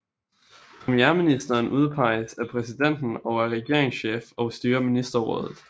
Premierministeren udpeges af præsidenten og er regeringschef og styrer ministerrådet